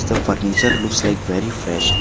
The furniture looks like very fresh.